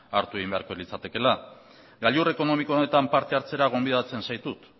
hartu egin beharko litzatekeela gailur ekonomiko honetan parte hartzera gonbidatzen zaitut